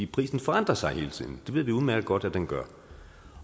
prisen forandrer sig hele tiden det ved vi udmærket godt at den gør